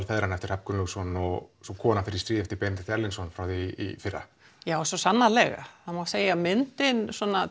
feðranna eftir Hrafn Gunnlaugsson og svo kona fer í stríð eftir Benedikt Erlingsson frá því í fyrra já svo sannarlega það má segja að myndin